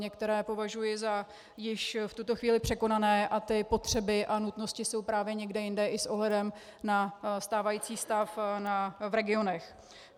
Některé považuji za již v tuto chvíli překonané a ty potřeby a nutnosti jsou právě někde jinde i s ohledem na stávající stav v regionech.